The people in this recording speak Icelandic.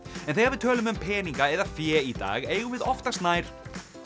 en þegar við tölum um peninga eða fé í dag eigum við oftast nær